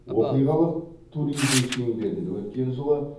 оқиғалық туризм шеңберінде өткен жылы